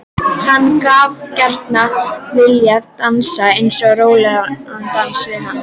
Hann hefði gjarnan viljað dansa einn rólegan dans við hana.